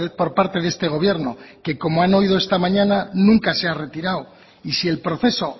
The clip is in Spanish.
por parte de este gobierno que como han oído esta mañana nunca se ha retirado y si el proceso